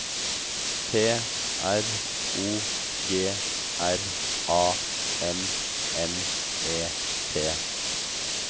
P R O G R A M M E T